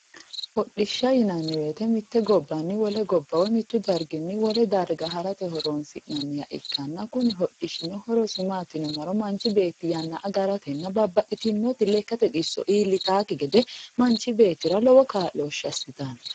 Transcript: hodhishsha yinanni woyte mitte gobbanni wole gobba mittu darginni wole darga harate horonsi'nanniha ikkanna kuni hodhishshino horosi maati yinummoro manchi beettita yannasi agaratenna babbaxxtino xisso iillitakki gede manchu beettira lowo kaa'looshshse assitanno.